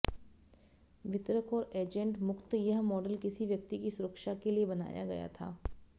वितरक और एजेंट मुक्त यह मॉडल किसी व्यक्ति की सुरक्षा के लिए बनाया गया था